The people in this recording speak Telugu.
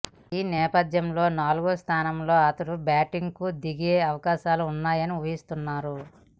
ఈ నేపథ్యంలో నాలుగో స్థానంలో అతడు బ్యాటింగ్కు దిగే అవకాశాలు ఉన్నాయని ఊహిస్తున్నారు